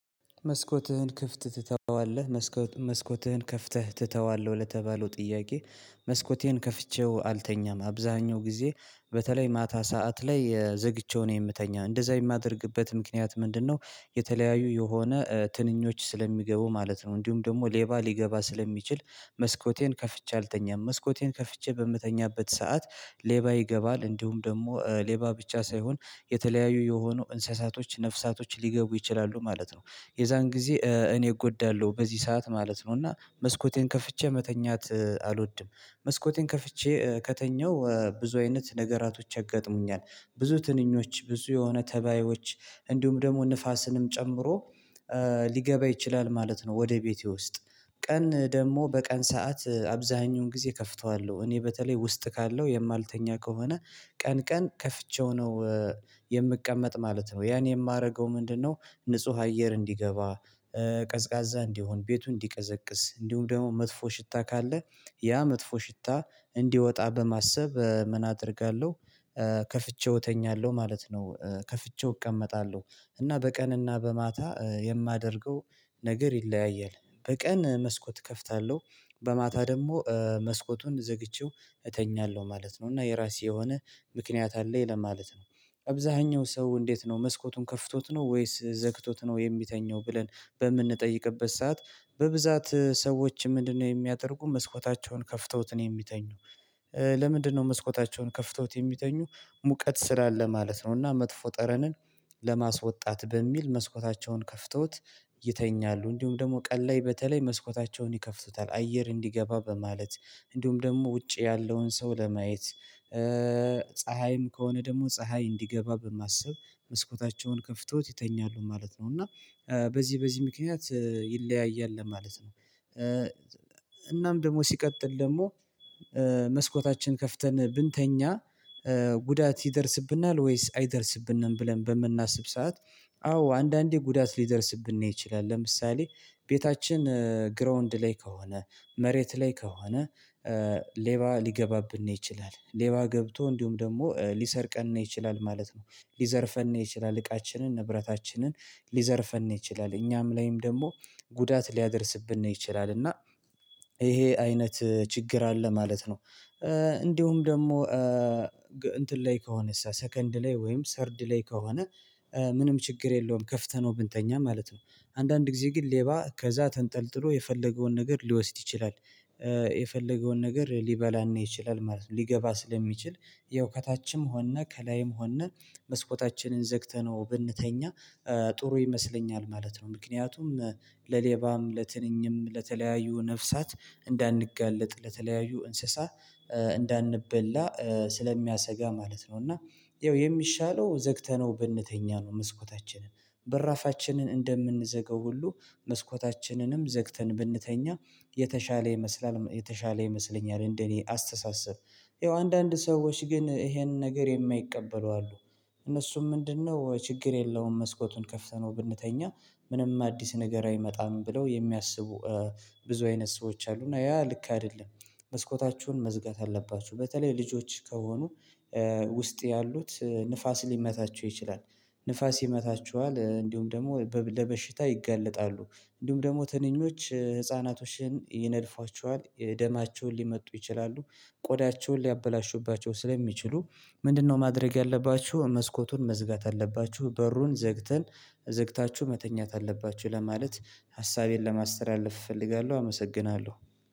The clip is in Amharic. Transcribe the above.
መስኮትህን ክፍት ትተዋለህ መስኮትህን ከፍተህ ትተዋለ ወይ ለተባለው ጥያቄ? መስኮቴን ከፍቼው አልተኛም አብዛኛው ጊዜ በተለይ ማታ ሰዓት ላይ የዘግቼው ነው የምተኛ እንደዛ የማደርግበት ምክንያት ምንድነው? የተለያዩ የሆነ ትንኞች ስለሚገቡ ማለት ነው። እንዲሁም ደግሞ ሌባ ሊገባ ስለሚችል መስኮቴን ከፍቼ አልተኛም። መስኮቴን ከፍቼ በምተኛበት ሰዓት ሌባ ይገባል እንዲሁም ደግሞ ሌባ ብቻ ሳይሆን የተለያዩ የሆኑ እንስሳቶች ነፍሳቶች ሊገቡ ይችላሉ ማለት ነው። የዛን ጊዜ እኔ እጎዳለሁ በዚህ ሰዓት ማለት ነው እና መስኮቴን ከፍቼ መተኛት አልወድም። መስኮቴን ከፍቼ ከተኛሁ ብዙ አይነት ነገራቶች ያጋጥሙኛል። ብዙ ትንኞች ብዙ የሆነ ተባዮች እንዲሁም ደግሞ ንፋስንም ጨምሮ ሊገባ ይችላል ማለት ነው። ወደ ቤቴ ውስጥ ቀን ደግሞ በቀን ሰዓት አብዛኛውን ጊዜ ከፍተዋለሁ እኔ በተለይ ውስጥ ካለው የማልተኛ ከሆነ ቀን ቀን ከፍቼው ነው። የምቀመጥ ማለት ነው ያን የማደርገው ምንድነው? ንጹህ አየር እንዲገባ ቀዝቃዛ እንዲሆን ቤቱ እንዲቀዘቅዝ እንዲሁም ደግሞ መጥፎ ሽታ ካለ ያ መጥፎ ሽታ እንዲወጣ በማሰብ ምን አደርጋለሁ? ከፍቼው እተኛለሁ ማለት ነው። ከፍቼው እቀመጣለሁ እና በቀን እና በማታ የማደርገው ነገር ይለያያል። በቀን መስኮት እከፍታለሁ በማታ ደግሞ መስኮቱን ዘግቼው እተኛለሁ ማለት ነው። እና የራሴ የሆነ ምክንያት አለኝ ለማለት ነው። አብዛኛው ሰው እንዴት ነው መስኮቱን ከፍቶት ነው ወይስ ዘግቶት ነው የሚተኛው ብለን በምንጠይቅበት ሰዓት። በብዛት ሰዎች ምንድነው የሚያደርጉ መስኮታቸውን ከፍተውት ነው የሚተኙ? ለምንድነው መስኮታቸውን ከፍተውት የሚተኙ? ሙቀት ስላለ ማለት ነው። እና መጥፎ ጠረንን ለማስወጣት በሚል መስኮታቸውን ከፍተውት ይተኛሉ እንዲሁም ደግሞ ቀን ላይ በተለይ መስኮታቸውን ይከፍቱታል አየር እንዲገባ በማለት። እንዲሁም ደግሞ ውጪ ያለውን ሰው ለማየት ፀሀይም ከሆነ ደግሞ ፀሀይ እንዲገባ በማሰብ መስኮታቸውን ከፍተውት ይተኛሉ ማለት ነው። እና በዚህ በዚህ ምክንያት ይለያያል ለማለት ነው። እናም ደግሞ ሲቀጥል ደግሞ መስኮታችን ከፍተን ብንተኛ ጉዳት ይደርስብናል ወይስ አይደርስብንም? ብለን በምናስብ ሰዓት አዎ አንዳንዴ ጉዳት ሊደርስብን ይችላል። ለምሳሌ ቤታችን ግራውንድ ላይ ከሆነ መሬት ላይ ከሆነ ሌባ ሊገባብን ነው ይችላል ሌባ ገብቶ እንዲሁም ደግሞ ሊሰርቀን ነው ይችላል ማለት ነው። ሊዘርፈን ነው ይችላል እቃችንን ንብረታችንን ሊዘርፈን ይችላል እኛም ላይም ደግሞ ጉዳት ሊያደርስብን ይችላል። እና ይሄ አይነት ችግር አለ ማለት ነው። እንዲሁም ደግሞ እንትን ላይ ከሆነስ ሰከንድ ላይ ወይም ሰርድ ላይ ከሆነ ምንም ችግር የለውም ከፍተነው ብንተኛ ማለት ነው። አንዳንድ ጊዜ ግን ሌባ ከዛ ተንጠልጥሎ የፈለገውን ነገር ሊወስድ ይችላል። የፈለገውን ነገር ሊበላን ይችላል ማለት ነው ሊገባ ስለሚችል ያው ከታችም ሆንን ከላይም ሆንን መስኮታችንን ዘግተነው ብንተኛ ጥሩ ይመስለኛል ማለት ነው። ምክንያቱም ለሌባም ለትንኝም ለተለያዩ ነፍሳት እንዳንጋለጥ ለተለያዩ እንስሳ እንዳንበላ ስለሚያሰጋ ማለት ነው። እና ያው የሚሻለው ዘግተነው ብንተኛ ነው። መስኮታችንን በራፋችንን እንደምንዘጋው ሁሉ መስኮታችንንም ዘግተን ብንተኛ የተሻለ ይመስላል የተሻለ ይመስለኛል እንደኔ አስተሳሰብ። ያው አንዳንድ ሰዎች ግን ይሄንን ነገር የማይቀበሉ አሉ። እነሱም ምንድነው ችግር የለውም መስኮቱን ከፍተነው ብንተኛ ምንም አዲስ ነገር አይመጣም ብለው የሚያስቡ። ብዙ አይነት ሰዎች አሉ እና ያ ልክ አይደለም። መስኮታችሁን መዝጋት አለባችሁ በተለይ ልጆች ከሆኑ ውስጥ ያሉት ንፋስ ሊመታቸው ይችላል። ንፋስ ይመታችኋል እንዲሁም ደግሞ ለበሽታ ይጋለጣሉ። እንዲሁም ደግሞ ትንኞች ህፃናቶችን ይነድፏችኋል የደማቸውን ሊመጡ ይችላሉ። ቆዳቸውን ሊያበላሹባቸው ስለሚችሉ ምንድነው ማድረግ ያለባችሁ መስኮቱን መዝጋት አለባችሁ። በሩን ዘግተን ዘግታችሁ መተኛት አለባችሁ። ለማለት ሀሳቤን ለማስተላለፍ እፈልጋለሁ። አመሰግናለሁ።